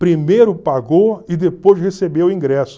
Primeiro pagou e depois recebeu o ingresso.